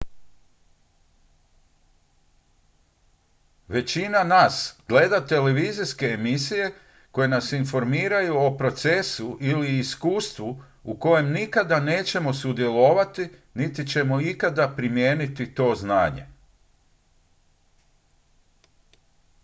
većina nas gleda televizijske emisije koje nas informiraju o procesu ili iskustvu u kojem nikada nećemo sudjelovati niti ćemo ikad primijeniti to znanje